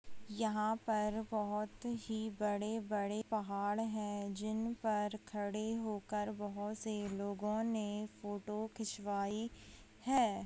यहां पर बोहोत ही बड़े-बड़े पहाड़ हैं जिन पर खड़े होकर बहुत से लोगों ने फोटो खिंचवाई है।